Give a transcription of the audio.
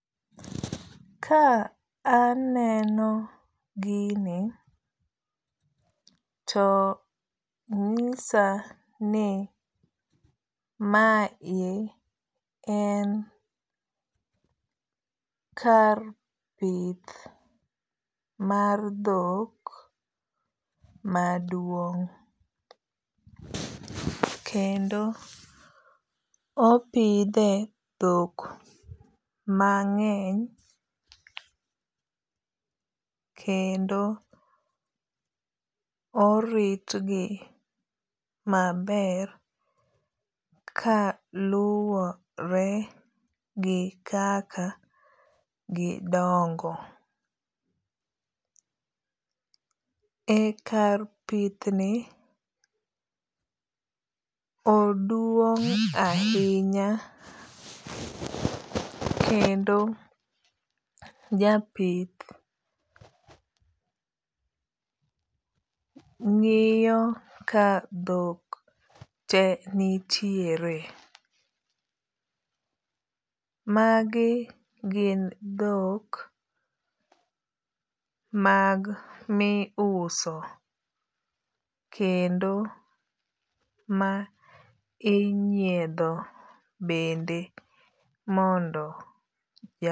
Ka aneno gini to nyisa ni mae en kar pith mar dhok maduong'. Kendo opidhe dhok mang'eny. Kendo orit gi maber ka luwore gi kaka gidongo. Ekar pith ni oduong' ahinya kendo japith ng'iyo ka dhok te nitiere. Magi gin dhok mag mi uso kendo ma inyiedho bende mondo.